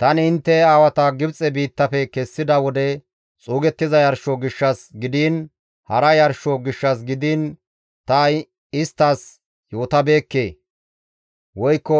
Tani intte aawata Gibxe biittafe kessida wode xuugettiza yarsho gishshas gidiin, hara yarsho gishshas gidiin, ta isttas yootabeekke woykko